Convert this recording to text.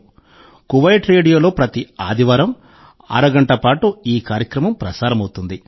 'Kuwait రేడియో'లో ప్రతి ఆదివారం అరగంట పాటు ఈ కార్యక్రమం ప్రసారమవుతుంది